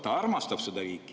Ta armastab seda riiki.